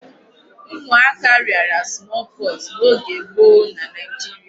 Ụmụaka rịara small pox n'oge gboo na Nigeria.